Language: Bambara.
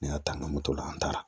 Ne y'a ta an ka moto la an taara